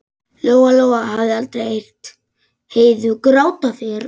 Lóa-Lóa hafði aldrei heyrt Heiðu gráta fyrr.